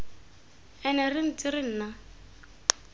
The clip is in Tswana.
ene re ntse re nna